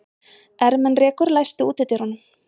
Ermenrekur, læstu útidyrunum.